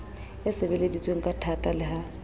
e sebeleditsweng kathata le ha